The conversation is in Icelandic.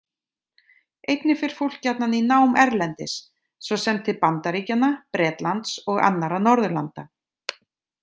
Einnig fer fólk gjarnan í nám erlendis, svo sem til Bandaríkjanna, Bretlands og annarra Norðurlanda.